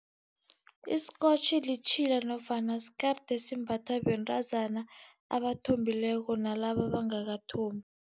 Isikotjhi litjhila nofana sikeride esimbathwa bentazana abathombileko nalaba abangakathombi.